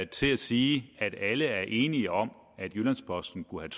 til at sige at alle er enige om at jyllands posten skulle